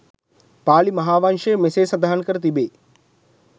පාලි මහාවංශයේ මෙසේ සඳහන් කර තිබේ.